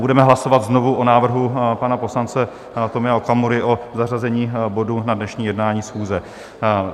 Budeme hlasovat znovu o návrhu pana poslance Tomia Okamury o zařazení bodu na dnešní jednání schůze.